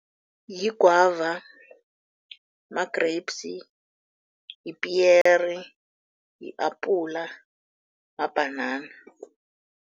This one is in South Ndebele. Yigwava, ma-grapes, lipiyeri, li-apula mabhanana.